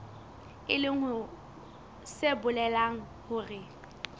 e leng se bolelang hore